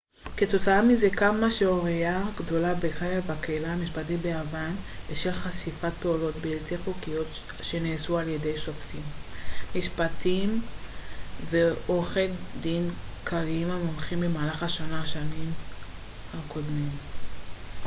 כתוצאה מזה קמה שערורייה גדולה בקרב הקהילה המשפטית ביוון בשל חשיפת פעולות בלתי חוקיות שנעשו על ידי שופטים משפטנים ועורכי דין כלליים ומומחים במהלך השנים הקודמות